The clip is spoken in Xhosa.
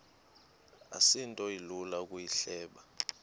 asinto ilula ukuyihleba